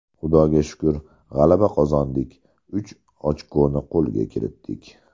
Xudoga shukr, g‘alaba qozondik, uch ochkoni qo‘lga kiritdik.